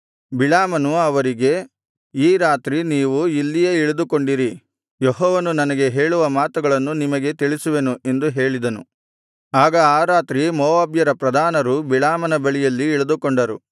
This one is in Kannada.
ಬಿಳಾಮನು ಅವರಿಗೆ ಈ ರಾತ್ರಿ ನೀವು ಇಲ್ಲಿಯೇ ಇಳಿದುಕೊಂಡಿರಿ ಯೆಹೋವನು ನನಗೆ ಹೇಳುವ ಮಾತುಗಳನ್ನು ನಿಮಗೆ ತಿಳಿಸುವೆನು ಎಂದು ಹೇಳಿದನು ಆಗ ಆ ರಾತ್ರಿ ಮೋವಾಬ್ಯರ ಪ್ರಧಾನರು ಬಿಳಾಮನ ಬಳಿಯಲ್ಲಿ ಇಳಿದುಕೊಂಡರು